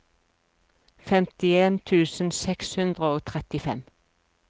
femtien tusen seks hundre og trettifem